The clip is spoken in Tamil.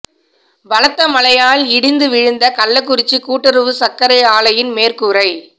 பலத்த மழையால் இடிந்து விழுந்த கள்ளக்குறிச்சி கூட்டுறவு சா்க்கரை ஆலையின் மேற்கூரை